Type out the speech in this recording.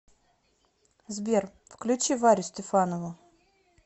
сбер включи варю стефанову